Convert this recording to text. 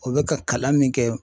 O bɛ ka kalan min kɛ